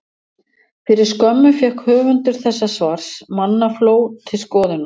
Fyrir skömmu fékk höfundur þessa svars mannafló til skoðunar.